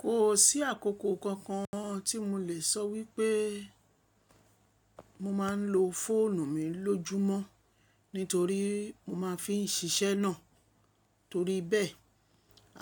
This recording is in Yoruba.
Kò sí àkókò kankan tí mo lè sọ wípé mo máa ń lo fóònù mi lójúmọ́ nítorí mo máa fi ń ṣiṣẹ́ náà. Torí bẹ́ẹ̀,